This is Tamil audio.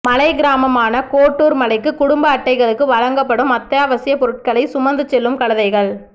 மலைக் கிராமமான கோட்டூர் மலைக்கு குடும்ப அட்டைகளுக்கு வழங்கப்படும் அத்தியாவசியப் பொருள்களைச் சுமந்துசெல்லும் கழுதைகள்